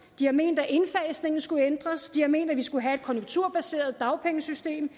de har ment at indfasningen skulle ændres og de har ment at vi skulle have et konjunkturbaseret dagpengesystem